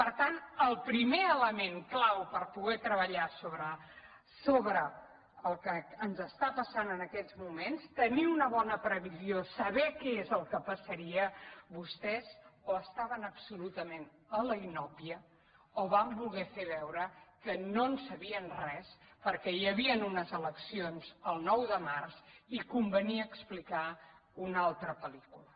per tant el primer element clau per poder treballar sobre el que ens està passant en aquests moments tenir una bona previsió saber què és el que passaria vostès o estaven absolu·tament a la inòpia o van voler fer veure que no en sa·bien res perquè hi havien unes eleccions el nou de març i convenia explicar una altra pel·lícula